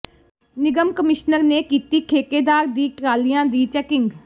ਨਿਗਮ ਕਮਿਸ਼ਨਰ ਨੇ ਕੀਤੀ ਠੇਕੇ ਦੀਆਂ ਟਰਾਲੀਆਂ ਦੀ ਚੈਕਿੰਗ